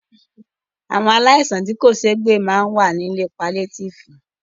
Àwọn aláìsàn tí kò ṣéé gbè ma wà ní ilé paliétífù.